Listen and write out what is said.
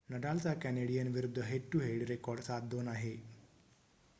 नडालचा Canadian विरुद्ध head to head record 7-2 आहे